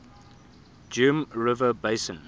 geum river basin